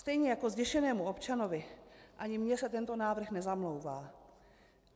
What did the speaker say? Stejně jako zděšenému občanovi, ani mně se tento návrh nezamlouvá.